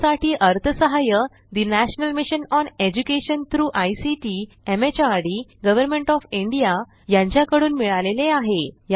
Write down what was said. यासाठी अर्थसहाय्य national mission on education through ICT MHRD government O F India यांच्याकडून मिळालेले आहे